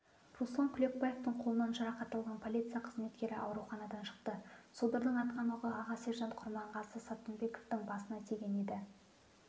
руслан кулекбаевтың қолынан жарақат алған полиция қызметкері ауруханадан шықты содырдың атқан оғы аға сержант құрманғазы саттымбековтың басына тиген еді